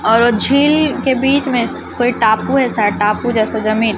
और झील के बीच में कोई टापू है शायद टापू जैसा जमीन--